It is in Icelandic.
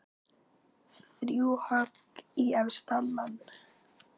Þrjú högg í efsta mann.